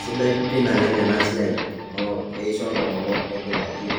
Sidai pii naleng ena siai amu keisho ntomonok nejing aji na